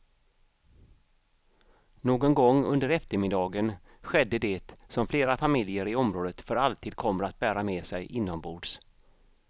Någon gång under eftermiddagen skedde det som flera familjer i området för alltid kommer att bära med sig inombords.